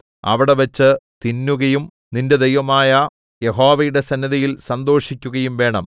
അവിടെവെച്ച് തിന്നുകയും നിന്റെ ദൈവമായ യഹോവയുടെ സന്നിധിയിൽ സന്തോഷിക്കുകയും വേണം